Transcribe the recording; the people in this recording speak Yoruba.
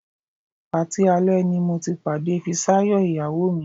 Patí alẹ́ ni mo ti pàdé Fisáyọ̀ ìyàwó mi